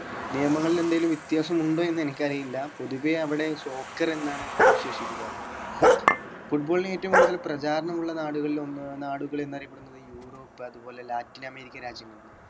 നിയമങ്ങളിൽ എന്തെങ്കിലും വ്യത്യാസം ഉണ്ടോ എന്നെനിക്കറിയില്ല പൊതുവെ അവിടെ soccer എന്നാണ് വിശേഷിപ്പികാർ football ന് ഏറ്റവും കൂടുതൽ പ്രചാരണം ഉള്ള നാടുകളിൽ ഒന്ന് നാടുകൾ എന്നറിയപ്പെടുന്നത് യൂറോപ്പ് അതുപോലെ ലാറ്റിൻ അമേരിക്കൻ രാജ്യങ്ങളാണ്